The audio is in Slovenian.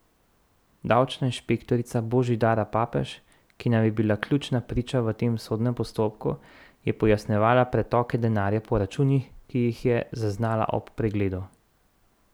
Davčna inšpektorica Božidara Papež, ki naj bi bila ključna priča v tem sodnem postopku, je pojasnjevala pretoke denarja po računih, ki jih je zaznala ob pregledu.